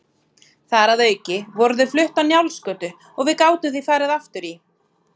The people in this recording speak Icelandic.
Þar að auki voru þau flutt á Njálsgötu og við gátum því farið aftur í